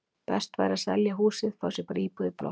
Best væri að selja húsið, fá sér bara íbúð í blokk.